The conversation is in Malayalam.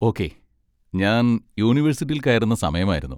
ഓക്കെ, ഞാൻ യൂണിവേഴ്സിറ്റിയിൽ കയറുന്ന സമയമായിരുന്നു.